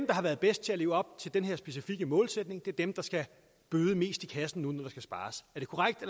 der har været bedst til at leve op til den her specifikke målsætning er dem der skal bøde mest til kassen nu når der skal spares